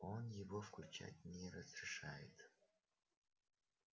он его включать не разрешает